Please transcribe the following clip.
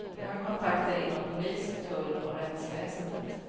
De har kontakter inom polis, tull och rättsväsendet.